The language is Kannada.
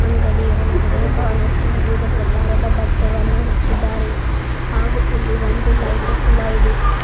ಅಂಗಡಿ ಒಳಗಡೆ ಬಹಳಷ್ಟು ವಿವಿಧ ಪ್ರಕಾರದ ಬಟ್ಟೆವನ್ನು ಹಚ್ಚಿದ್ದಾರೆ ಹಾಗು ಇಲ್ಲಿ ಒಂದು ಲೈಟ್ ಕೂಡ ಇದೆ.